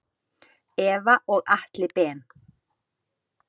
Eva og Atli Ben.